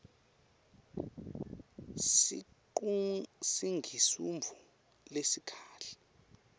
sikiqung singsisinbvo lesikahle